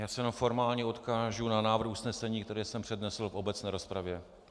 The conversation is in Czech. Já se jenom formálně odkážu na návrh usnesení, který jsem přednesl v obecné rozpravě.